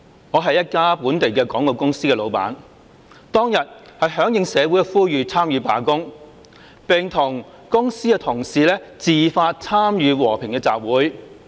我是一家本地廣告公司的老闆，當日響應社會呼籲參與罷工，並與公司的同事自發參與和平的集會。